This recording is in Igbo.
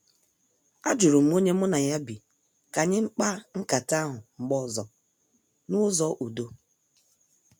Ajurum onye mụ na ya bi ka anyị mkpa nkata ahụ mgbe ọzọ n' ụzọ udo.